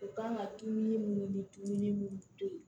U kan ka dumuni minnu ni dumuni mun to yen